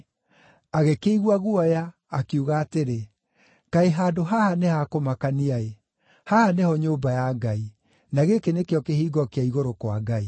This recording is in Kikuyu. Agĩkĩigua guoya, akiuga atĩrĩ, “Kaĩ handũ haha nĩ ha kũmakania-ĩ! Haha nĩho nyũmba ya Ngai; na gĩkĩ nĩkĩo kĩhingo kĩa igũrũ-kwa-Ngai.”